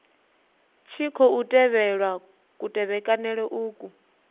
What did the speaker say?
tshi khou tevhelwa kutevhekanele uku